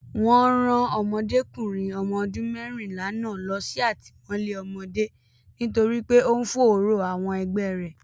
Wọn rán Ọmọdékùnrin ọmọ ọdún mẹ́rìnlá náà lọ sí àtìmọ́lé ọmọdé nítorí pé ó ń fòòró àwọn ẹgbẹ́ rẹ̀.